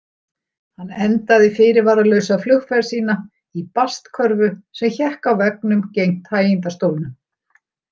Hann endaði fyrirvaralausa flugferð sína í bastkörfu sem hékk á veggnum gegnt hægindastólnum.